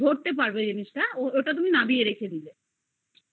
ধরতে পারবে জিনিস তা ওটা তুমি নামিয়ে রেখে দিলে এইবার তুমি